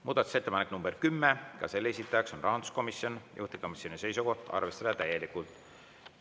Muudatusettepanek nr 10, ka selle esitaja on rahanduskomisjon, juhtivkomisjoni seisukoht on arvestada täielikult.